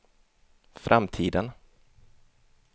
framtiden